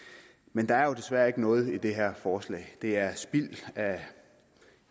men der er desværre ikke noget i det her forslag det er spild af